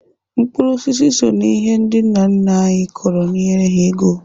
Mkpụrụ osisi so n'ihe ndị nna nna anyị kọrọ nyere ha ego.